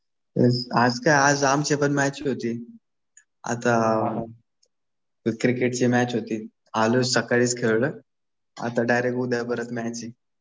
आज काय आज आमची पण मॅच होती. आता क्रिकेटची मॅच होती. आलोय सकाळीच खेळलोय. आता डायरेक्ट उद्या परत मॅच आहे.